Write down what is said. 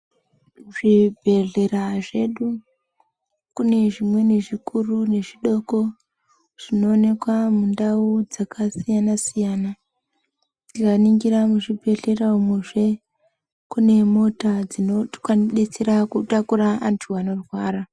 Zvibhedhlera zvedu kune zvimweni zvikuru nezvidoko zvinooneka mundau dzakasiyana-siyana tikaningira muzvibhedhlera umuzvee kune mota dzinodetsera kutakura antu anorwara.